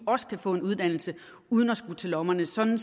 også kan få en uddannelse uden at skulle til lommerne sådan